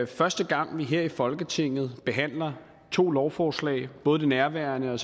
første gang vi her i folketinget behandler to lovforslag både det nærværende og